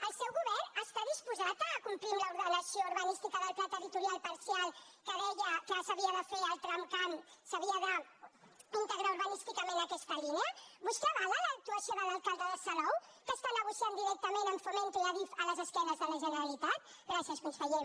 el seu govern està disposat a complir amb l’ordenació urbanística del pla territorial parcial que deia que s’havia de fer el tramcamp s’havia d’integrar urbanísticament aquesta línia vostè avala l’actuació de l’alcalde de salou que està negociant directament amb fomento i adif a les esquenes de la generalitat gràcies conseller